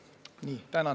Tänan tähelepanu eest!